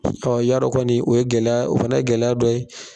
y'a dɔn kɔni, o ye gɛlɛya dɔ, o fana ye gɛlɛya dɔ ye